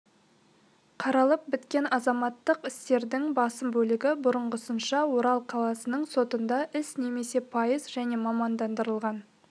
қаралып біткен азаматтық істердің басым бөлігі бұрынғысынша орал қаласының сотында іс немесе пайыз және мамандандырылған